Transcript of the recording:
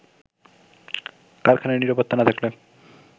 কারখানায় নিরাপত্তা না থাকলে